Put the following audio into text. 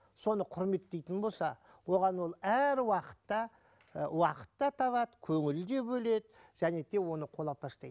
соны құрметтейтін болса оған ол әр уақытта ы уақыт та табады көңіл де бөледі және тек оны қолапаштайды